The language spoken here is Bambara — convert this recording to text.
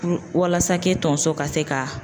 walasa tonso ka se ka